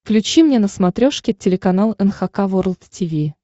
включи мне на смотрешке телеканал эн эйч кей волд ти ви